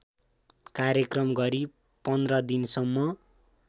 कार्यक्रम गरी १५ दिनसम्म